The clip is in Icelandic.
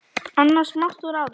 annars mátt þú ráða.